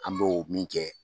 An bɛ o min kɛ